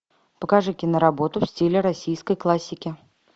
покажи киноработу в стиле российской классики